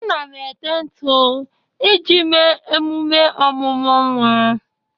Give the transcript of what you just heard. Ana m ete ntụ iji mee emume ọmụmụ nwa